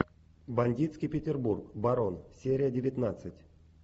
бандитский петербург барон серия девятнадцать